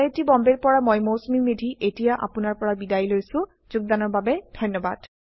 I I T Bombay ৰ পৰা মই মৌচুমী মেধী এতিয়া আপুনাৰ পৰা বিদায় লৈছো যোগদানৰ বাবে ধন্যবাদ